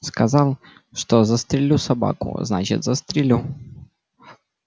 сказал что застрелю собаку значит застрелю